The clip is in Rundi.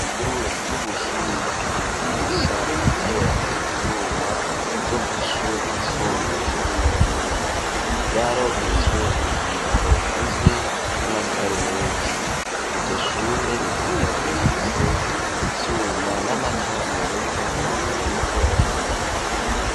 Ishure ry'ubuhinga ryigisha guteranya ivyuma ryo kw'ishure ry'isumbuye ry'i Muyinga. Ryararonkejwe umwambaro ugizwe n'amasarubeti. Iryo shure rikaba rifise ivyuma n'amatara meza ariko araka.